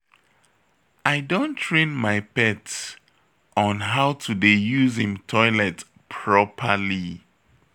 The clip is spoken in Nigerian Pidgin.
I don train my pet on how to dey use im toilet properly